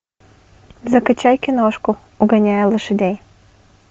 закачай киношку угоняя лошадей